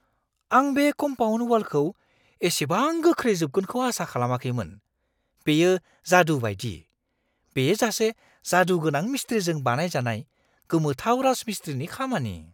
आं बे कम्पाउन्ड वालखौ एसेबां गोख्रै जोबगोनखौ आसा खालामाखैमोन-बेयो जादु बायदि! बेयो सासे जादुगोनां मिस्ट्रिजों बानायजानाय गोमोथाव राजमिस्ट्रिनि खामानि!